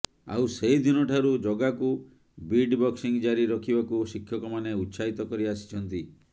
ଆଉ ସେହି ଦିନଠାରୁ ଜଗାକୁ ବିଟ୍ ବକ୍ସିଂ ଜାରି ରଖିବାକୁ ଶିକ୍ଷକମାନେ ଉତ୍ସାହିତ କରି ଆସିଛନ୍ତି